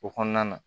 O kɔnɔna na